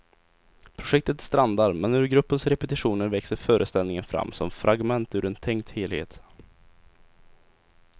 Projektet strandar, men ur gruppens repetitioner växer föreställningen fram som fragment ur en tänkt helhet.